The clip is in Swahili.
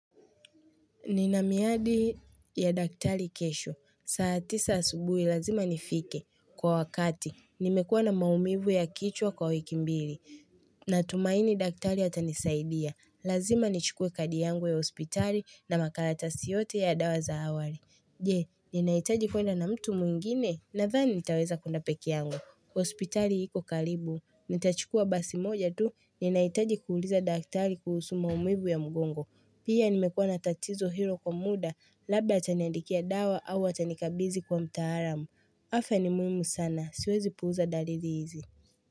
Nina miadi ya daktari kesho. Saa tisa asubuhi lazima nifike. Kwa wakati, nimekuwa na maumivu ya kichwa kwa wiki mbili. Natumaini daktari atanisaidia. Lazima nichukue kadi yangu ya hospitali na makalatasi yote ya dawa za awali. Je, ninahitaji kwenda na mtu mwingine nathani nitaweza kuenda peke yangu. Hospitali iko karibu, nitachukua basi moja tu ninahitaji kuuliza daktari kuhusu maumivu ya mgongo. Pia nimekuwa na tatizo hilo kwa muda, labda ataniandikia dawa au atanikabizi kwa mtaalamu. Afya ni muhimu sana, siwezi puuza dalili hizi.